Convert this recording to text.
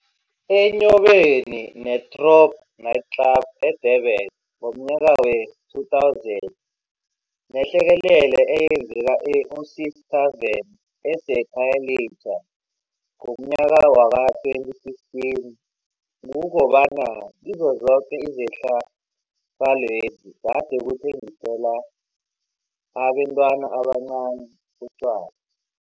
Enyobeni ne-Throb nightclub e-Durban ngomnyaka wee-2000 nehlekelele eyenzeka e-Osi's Tarven eseKhayelitsha ngomnyaka wee-2015, kukobana kizo zoke izehlakalwezi kade kuthengiselwa abentwana abancani utjwala.